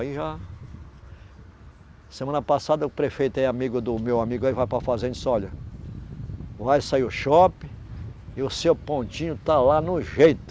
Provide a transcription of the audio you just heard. Aí já, semana passada, o prefeito é amigo do meu amigo aí, vai para fazenda e disse, olha, vai sair o shopping e o seu pontinho está lá no jeito.